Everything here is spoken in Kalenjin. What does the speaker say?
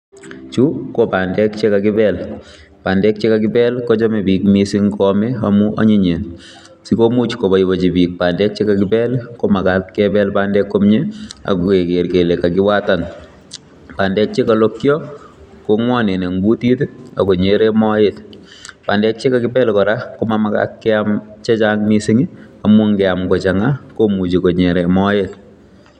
Chu ko bandek chekakipel, bandek chekakipel kochome biik mising koame amun anyinyen sikomuch koboiboienchi biik bandek chekakipel komakat kepel bandek komie akeker kele kakiwatan bandek chekolokyo kongwonen en kutit akonyeren moet ,bandek chekakipel kora komamakat keam chechang mising amun ngeam kochang'a komuche konyeren moet.